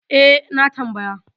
E, na tambaya.